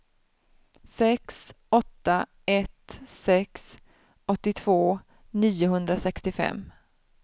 sex åtta ett sex åttiotvå niohundrasextiofem